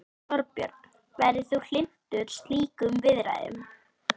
Þorbjörn: Værir þú hlynntur slíkum viðræðum?